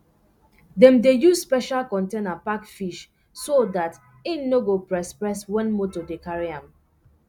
dem dey use special container pack fish so dat en no go press press wen moto dey carry am